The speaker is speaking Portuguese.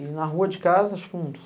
E na rua de casa, acho que uns...